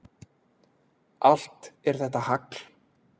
Allt er þetta hagl.